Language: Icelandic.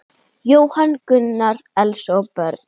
Jóhann Gunnar, Elsa og börn.